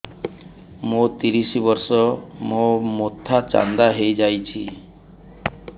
ମୋ ତିରିଶ ବର୍ଷ ମୋ ମୋଥା ଚାନ୍ଦା ହଇଯାଇଛି